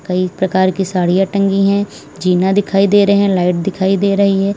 कई प्रकार की साड़ियाँ टंगी है जिना दिखाई दे रहे हैं लाइट दिखाई दे रही है।